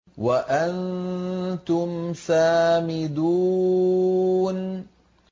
وَأَنتُمْ سَامِدُونَ